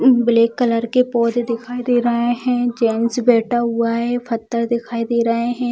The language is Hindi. ई ब्लैक कलर के पौधे दिखाई दे रहें हैं जेंट्स बैठा हुआ है पत्थर दिखाई दे रहें हैं।